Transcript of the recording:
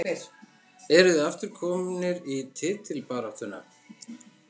Eruð þið aftur komnir í titilbaráttuna?